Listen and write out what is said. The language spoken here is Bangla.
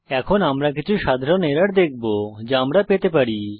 এখন আমরা কিছু সাধারণ এরর দেখবো যা আমরা পেতে পারি